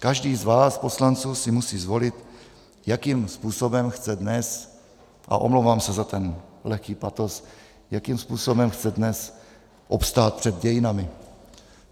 Každý z vás poslanců si musí zvolit, jakým způsobem chce dnes, a omlouvám se za ten lehký patos, jakým způsobem chce dnes obstát před dějinami.